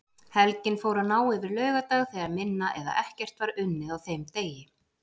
Helgin fór að ná yfir laugardag þegar minna eða ekkert var unnið á þeim degi.